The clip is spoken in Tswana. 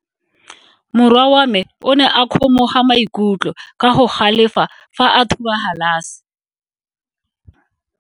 Morwa wa me o ne a kgomoga maikutlo ka go galefa fa a thuba galase.